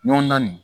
Ɲɔndan nin